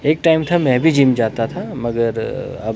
एक टाइम था मैं भी जिम जाता था मगर--